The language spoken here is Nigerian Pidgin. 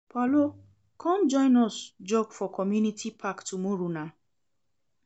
Paulo, come join us jog for community park tomorrow nah